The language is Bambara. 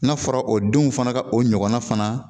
N'a fɔra o denw fana ka o ɲɔgɔnna fana